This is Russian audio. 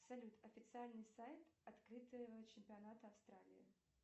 салют официальный сайт открытого чемпионата австралии